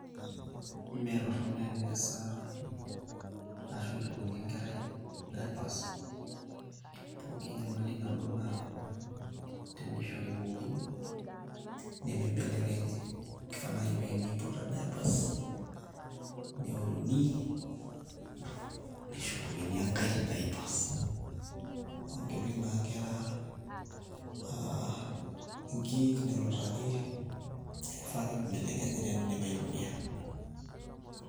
mee toronok eneasa arashu eshukuni enkerai diapers pooki enyamali naboo naa tenishori ibookini nemi belekenyii kifaa naii teniputa diapers neoruni neishopukini enkae diapers amuu keepik naa nkeraa ahhh. inkik nelutaki niako kifaa ake peee imbelekenyi tee nidip aitumia